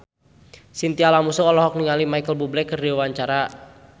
Chintya Lamusu olohok ningali Micheal Bubble keur diwawancara